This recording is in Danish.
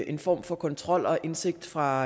en form for kontrol og indsigt fra